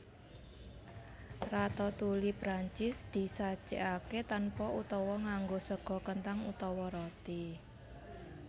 Ratatouille Prancis disajèkaké tanpa utawa nganggo sega kenthang utawa roti